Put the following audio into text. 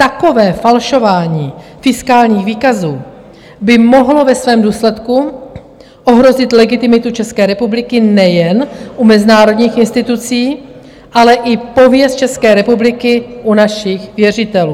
Takové falšování fiskálních výkazů by mohlo ve svém důsledku ohrozit legitimitu České republiky nejen u mezinárodních institucí, ale i pověst České republiky u našich věřitelů.